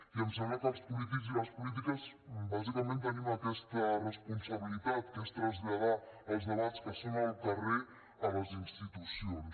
i em sembla que els polítics i les polítiques bàsicament tenim aquesta responsabilitat que és traslladar els debats que són al carrer a les institucions